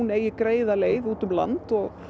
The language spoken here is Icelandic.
eigi greiða leið út um land og